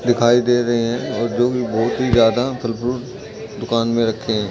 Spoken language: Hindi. दिखाई दे रहे हैं और जो कि बहुत ही ज्यादा फल फ्रूट दुकान में रखे हैं।